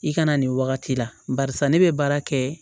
I kana nin wagati la barisa ne be baara kɛ